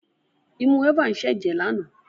Imú Eva ń ṣẹ jẹ lana.